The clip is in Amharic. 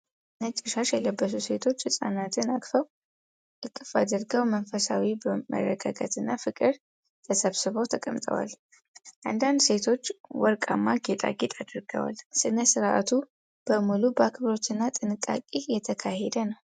ነጭ ሻሽ የለበሱ ሴቶች ሕፃናትን እቅፍ አድርገው በመንፈሳዊ መረጋጋትና ፍቅር ተሰብስበው ተቀምጠዋል። አንዳንድ ሴቶች ወርቃማ ጌጣጌጥ አድርገዋል፣ ሥነ-ሥርዓቱ በሙሉ በአክብሮትና በጥንቃቄ እየተካሄደ ነው።